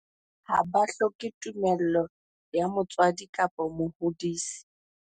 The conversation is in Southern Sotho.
Ha ba hloke tumello ya motswadi kapa mohodisi.